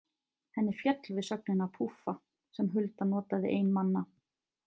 Henni féll við sögnina púffa sem Hulda notaði ein manna.